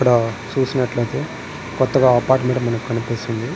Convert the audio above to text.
ఇక్కడ సుసినట్లైతే కొత్తగా అపార్ట్మెంట్ మనకు కనిపిస్తుంది.